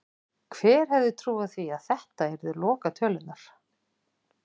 Hver hefði trúað því að þetta yrðu lokatölurnar??